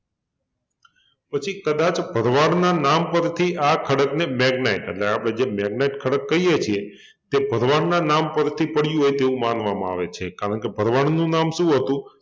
પછી કદાચ ભરવાડના નામ પરથી આ ખડકને magnet એટલે આપણે જે magnet ખડક કહીએ છીએ તે ભરવાડના નામ પરથી પડ્યુ હોય તેવુંં માનવામાં આવે છે કારણકે ભરવાડનું નામ શું હતુ?